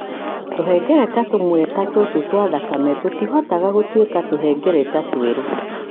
Tũhengereta tũmwe tha tũtũ twa thakame tutĩhotaga gũtuĩka tũhengereta tũerũ.